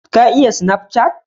Ka iya sinafcat?